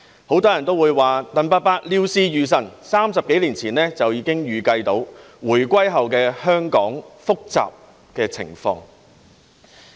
很多人也說，鄧伯伯料事如神 ，30 多年前已預計回歸後香港的複雜情況。